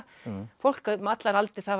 fólk um allar aldir